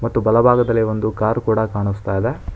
ಮತ್ತು ಬಲಭಾಗದಲ್ಲಿ ಒಂದು ಕಾರ್ ಕೂಡ ಕಾಣಸ್ತಾ ಇದೆ.